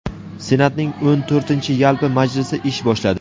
Senatning o‘n to‘rtinchi yalpi majlisi ish boshladi.